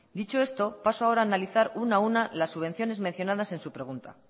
dicho esto paso ahora a analizar una a una las subvenciones mencionadas en su pregunta